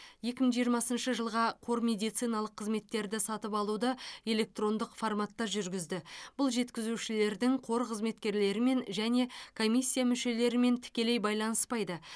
екі мың жиырмасыншы жылға қор медициналық қызметтерді сатып алуды электрондық форматта жүргізді бұл жеткізушілердің қор қызметкерлерімен және комиссия мүшелерімен тікелей байланыспайды